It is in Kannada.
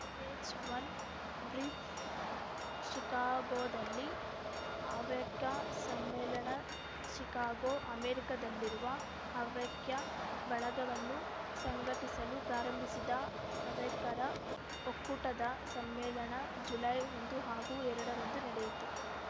ಪೇಜ್‌ ಒನ್ ಬ್ರೀಫ್‌ ಶಿಕಾಗೋದಲ್ಲಿ ಹವ್ಯಕ ಸಮ್ಮೇಳನ ಶಿಕಾಗೊ ಅಮೆರಿಕದಲ್ಲಿರುವ ಹವ್ಯಕ ಬಳಗವನ್ನು ಸಂಘಟಿಸಲು ಪ್ರಾರಂಭಿಸಿದ ಹವ್ಯಕರ ಒಕ್ಕೂಟದ ಸಮ್ಮೇಳನ ಜುಲೈ ಒಂದು ಹಾಗೂ ಎರಡರಂದು ನಡೆಯಿತು